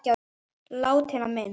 Látinna minnst.